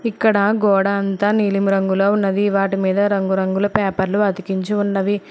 ఇక్కడ గోడంతా నీలిమ రంగులో ఉన్నది వాటి మీద రంగురంగుల పేపర్లు అతికించి ఉన్నవి.